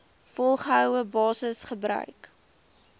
volgehoue basis gebruik